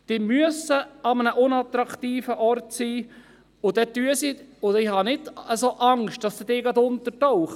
Sie an einem unattraktiven Ort sein, und ich habe nicht Angst, dass diese gleich untertauchen.